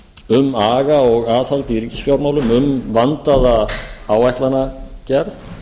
um aga og aðhald í ríkisfjármálum um vandaða áætlanagerð